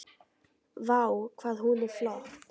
Vá, hvað hún er flott!